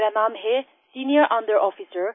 मेरा नाम है सीनियर अंडर आफिसर